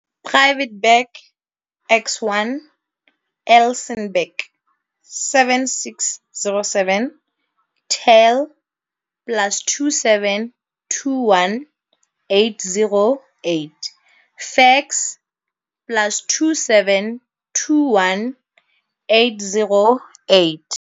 Private Bag X1, Elsenburg, 7607 tel +27 21 808 fax +27 21 808